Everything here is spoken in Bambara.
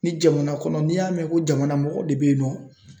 Ni jamana kɔnɔ n'i y'a mɛn ko jamana mɔgɔ de bɛ yen nɔ